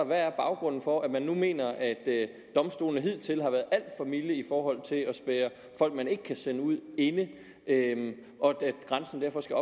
hvad er baggrunden for at man nu mener at domstolene hidtil har været alt for milde i forhold til at spærre folk man ikke kan sende ud inde og at grænsen derfor skal